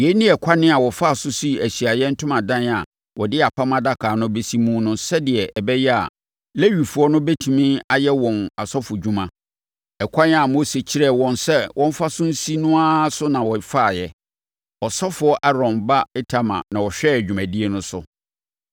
Yei ne ɛkwan a wɔfaa so sii Ahyiaeɛ Ntomadan a wɔde Apam Adaka no bɛsi mu no sɛdeɛ ɛbɛyɛ a Lewifoɔ no bɛtumi ayɛ wɔn asɔfodwuma. Ɛkwan a Mose kyerɛɛ wɔn sɛ wɔmfa so nsi no ara so na wɔfaeɛ. Ɔsɔfoɔ Aaron ba Itamar na ɔhwɛɛ dwumadie no so.